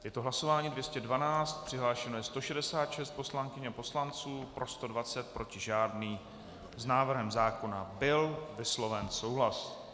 Je to hlasování 212, přihlášeno je 166 poslankyň a poslanců, pro 120, proti žádný, s návrhem zákona byl vysloven souhlas.